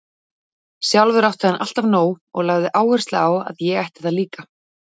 Sjálfur átti hann alltaf nóg og lagði áherslu á að ég ætti það líka.